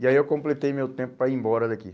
E aí eu completei meu tempo para ir embora daqui.